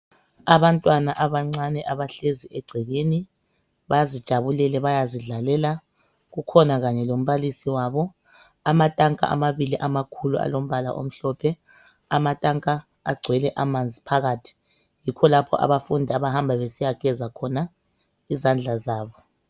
Abantwana abancane abahlezi egcekeni bazijabulele bayazidlalela kukhona kanye lombalisi wabo, amatanka amabili amakhulu alombala omhlophe. Amatanka agcwele amanzi phakathi. Yikho lapho abafundi abahmba besiyageza khona izandla zabo.